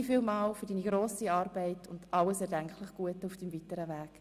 Vielen Dank für deine grosse Arbeit und alles erdenklich Gute auf deinem weiteren Weg.